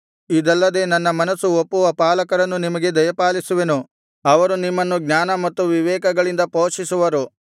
ಇದಲ್ಲದೆ ನನ್ನ ಮನಸ್ಸು ಒಪ್ಪುವ ಪಾಲಕರನ್ನು ನಿಮಗೆ ದಯಪಾಲಿಸುವೆನು ಅವರು ನಿಮ್ಮನ್ನು ಜ್ಞಾನ ಮತ್ತು ವಿವೇಕಗಳಿಂದ ಪೋಷಿಸುವರು